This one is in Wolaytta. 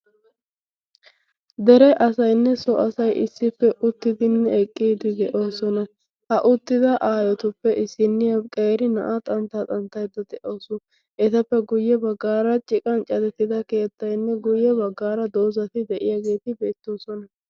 dere asaynne so asay issippe uttidinne eqqiidi deyoosona ha uttida aayotuppe issinniya qeeri na'aa xanttaa xanttaidda de'aasu etappe guyye baggaara ciqan catettida keettaynne guyye baggaara doozati de'iyaageeti beettoosona